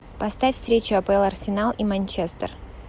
поставь встречу апл арсенал и манчестер